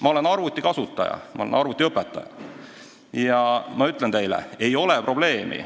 Ma olen arvutikasutaja, ma olen arvutiõpetaja ja ma ütlen teile: ei ole probleemi.